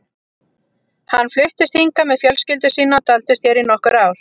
Hann fluttist hingað með fjölskyldu sína og dvaldist hér í nokkur ár.